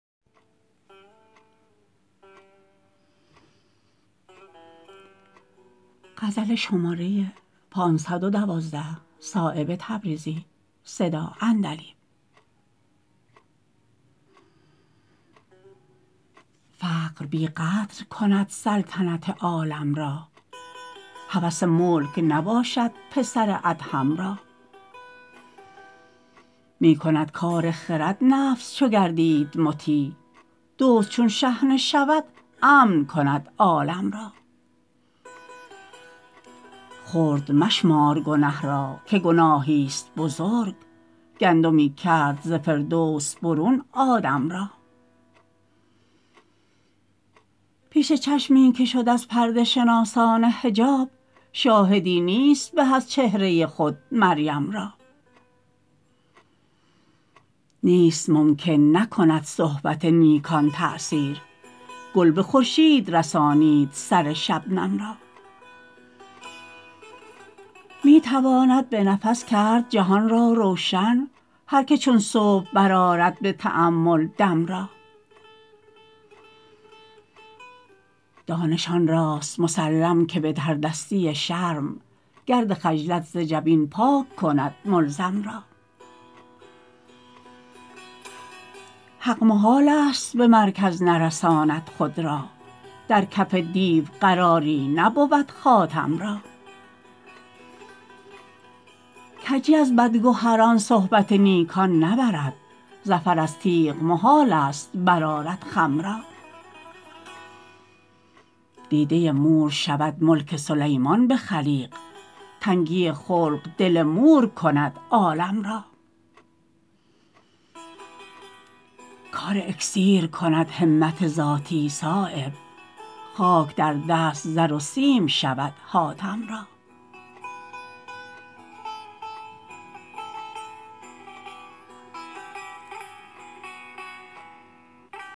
فقر بی قدر کند سلطنت عالم را هوس ملک نباشد پسر ادهم را می کند کار خرد نفس چو گردید مطیع دزد چون شحنه شود امن کند عالم را خرد مشمار گنه را که گناهی است بزرگ گندمی کرد ز فردوس برون آدم را پیش چشمی که شد از پرده شناسان حجاب شاهدی نیست به از چهره خود مریم را نیست ممکن نکند صحبت نیکان تأثیر گل به خورشید رسانید سر شبنم را می تواند به نفس کرد جهان را روشن هر که چون صبح برآرد به تأمل دم را دانش آنراست مسلم که به تردستی شرم گرد خجلت ز جبین پاک کند ملزم را حق محال است به مرکز نرساند خود را در کف دیو قراری نبود خاتم را کجی از بد گهران صحبت نیکان نبرد ظفر از تیغ محال است برآرد خم را دیده مور شود ملک سلیمان به خلیق تنگی خلق دل مور کند عالم را کار اکسیر کند همت ذاتی صایب خاک در دست زر و سیم شود حاتم را